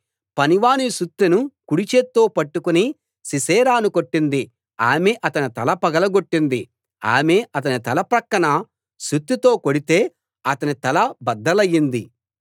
పనివాని సుత్తెను కుడిచేత్తో పట్టుకుని సీసెరాను కొట్టింది ఆమె అతని తల పగలగొట్టింది ఆమె అతని తల ప్రక్కన సుత్తెతో కొడితే అతని తల బద్దలైంది